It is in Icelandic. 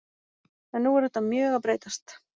En nú er þetta mjög að breytast.